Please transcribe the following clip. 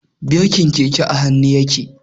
Birkin keke a hannu yake.